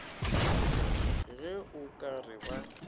ge o ka re ba